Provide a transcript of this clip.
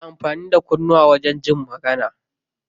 Ana amfani da kunnuwa wajen jin magana.